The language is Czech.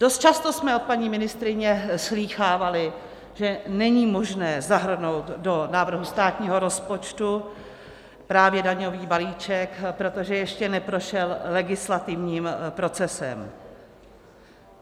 Dost často jsme od paní ministryně slýchávali, že není možné zahrnout do návrhu státního rozpočtu právě daňový balíček, protože ještě neprošel legislativním procesem.